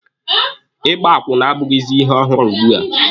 Ịgba akwụna abụghịzi ihe ọhụrụ ugbua.